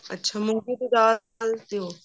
ਅੱਛਾ ਮੂੰਗੀ ਦੀ ਦਾਲ